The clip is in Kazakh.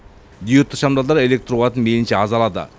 диодты шамдалдар электр қуатын мейілінше аз алады